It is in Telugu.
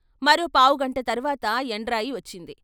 మరో పావుగంట తర్వాత యండ్రాయి వచ్చింది.